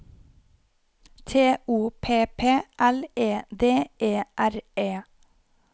T O P P L E D E R E